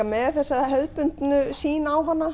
með þessa hefðbundnu sýn á hana